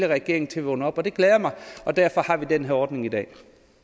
regering til at vågne op det glæder mig og derfor har vi den her ordning i dag